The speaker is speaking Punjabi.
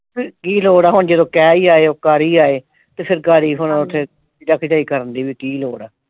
ਫਿਰ ਕੀ ਲੋੜ ਹੈ ਹੁਣ ਜਦੋਂ ਕਹਿ ਈ ਆਇਓ ਕਰ ਈ ਆਏ ਤੇ ਫਿਰ ਘਰ ਈ ਹੁਣ ਉੱਥੇ ਜਾ ਕੇ ਕੁਝ ਕਰਨ ਦੀ ਵੀ ਕੀ ਲੋੜ ਆ।